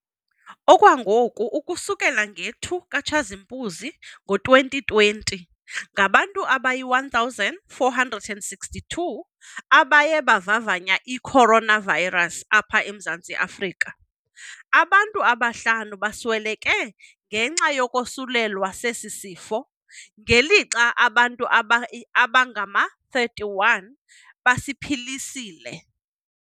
Okwangoku, ukusukela nge-2 ka-Tshazimpunzi ngo-2020, ngabantu abayi-1 462 abaye bavavanya i-coronavirus apha eMzantsi Afrika. Abantu abahlanu basweleke ngenxa yokosulelwa sesi sifo, ngelixa abantu abangama-31 besiphilisile.